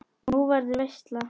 Nú, verður veisla?